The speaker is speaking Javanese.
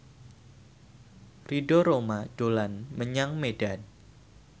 Ridho Roma dolan menyang Medan